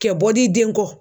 Kɛ bɔ di den kɔ.